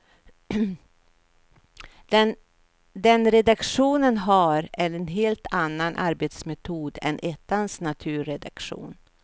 Den redaktionen har en helt annan arbetsmetod än ettans naturredaktion.